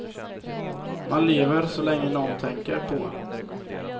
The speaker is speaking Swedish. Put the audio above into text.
Man lever så länge nån tänker på en.